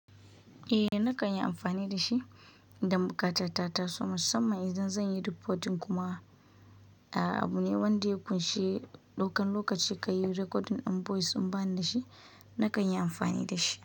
Eh nakan yi amfani da shi idan ɓuƙatata taso musamman idan zan yi reporting kuma. A'a abu ne wanda ya ƙunshi ɗaukan lokaci ka yi recording on voice in bani da shi nakan yi amfani da shi.